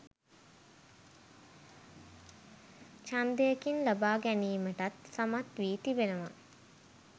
ඡන්දකින් ලබාගැනීමටත් සමත් වී තිබෙනවා